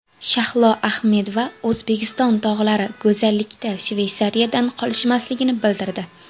Shahlo Ahmedova O‘zbekiston tog‘lari go‘zallikda Shveysariyadan qolishmasligini bildirdi.